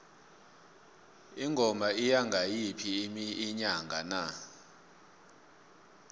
ingoma iya ngayiphi inyanga na